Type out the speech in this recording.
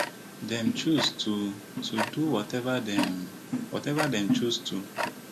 dem choose to to do wateva dem wateva dem choose to